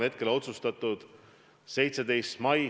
Eriolukorra otsus on hetkel tehtud.